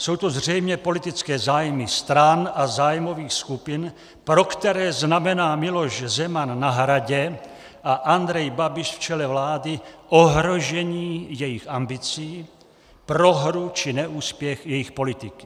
Jsou to zřejmě politické zájmy stran a zájmových skupin, pro které znamená Miloš Zeman na Hradě a Andrej Babiš v čele vlády ohrožení jejich ambicí, prohru či neúspěch jejich politiky.